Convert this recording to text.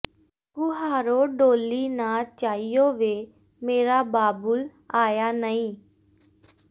ਕੁਹਾਰੋ ਡੋਲੀ ਨਾ ਚਾਇਓ ਵੇ ਮੇਰਾ ਬਾਬੁਲ ਆਇਆ ਨਈਂ